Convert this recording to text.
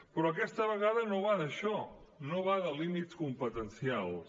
però aquesta vegada no va d’això no va de límits competencials